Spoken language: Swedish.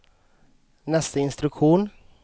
nästa instruktion